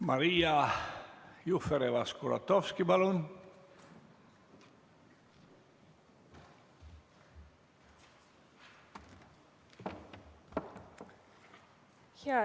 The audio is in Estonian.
Maria Jufereva-Skuratovski, palun!